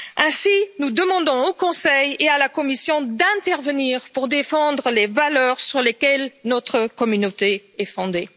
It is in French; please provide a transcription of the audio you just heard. Ainsi, nous demandons au Conseil et à la Commission d'intervenir pour défendre les valeurs sur lesquelles notre communauté est fondée.